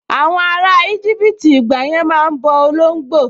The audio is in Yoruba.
Àwọn ará íjíbítì ìgbàyẹn máa n bọ olóngbò